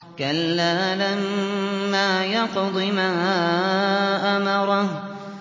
كَلَّا لَمَّا يَقْضِ مَا أَمَرَهُ